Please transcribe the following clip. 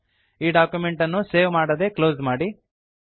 ಈ ಡಾಕ್ಯುಮೆಂಟ್ ಅನ್ನು ಸೇವ್ ಮಾಡದೇ ಕ್ಲೋಸ್ ಮಾಡಿ